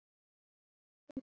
Þá gerðist það.